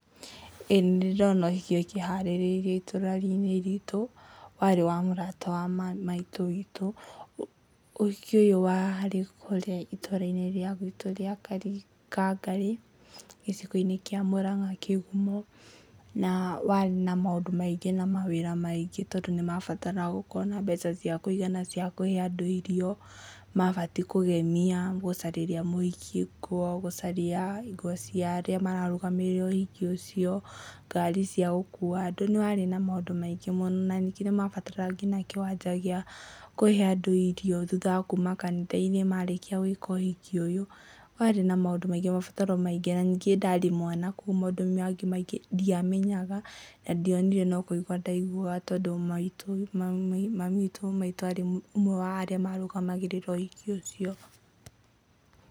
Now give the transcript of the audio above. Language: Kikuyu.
ĩĩ nĩ ndĩ ndona ũhiki ũkĩharĩrĩrio itũra-inĩ ritũ, warĩ wa mũrata wa maitũ witũ, ũhiki ũyũ warĩ kũrĩa itũra-inĩ rĩa gwitũ rĩa Kangarĩ, gĩcigo-inĩ kĩa Murang'a Kĩgumo, na warĩ na maũndũ maingĩ na mawĩra maingĩ tondũ nĩ mabataraga gũkorwo na mbeca cia kũigana cia kũhe andũ irio, mabatiĩ kũgemia gũcarĩria mũhiki nguo, gũcaria nguo cia arĩa mararũgamĩrĩra ũhiki ũcio, ngari cia gũkua andũ, nĩ warĩ na maũndũ maingĩ mũno, na ningĩ nĩ mabataraga nginya kĩwanja gĩa kũhe andũ irio thutha wa kuuma kanitha-inĩ marĩkia gwĩka ũhiki ũyũ, warĩ na maũndũ maingĩ mabataro maingĩ na ningĩ ndarĩ mwana kũguo maũndũ mangĩ maingĩ ndiamenyaga na ndionire no kũigua ndaiguaga tondũ maitũ arĩ ũmwe wa arĩa marũgamagĩrĩra ũhiki ũcio.